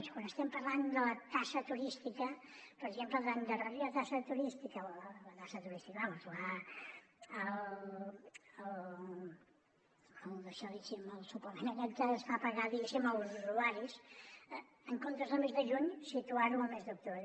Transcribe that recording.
quan estem parlant de la taxa turística per exemple d’endarrerir la taxa turística el suplement aquest que es fa pagar diguéssim als usuaris en comptes del mes de juny situar lo al mes d’octubre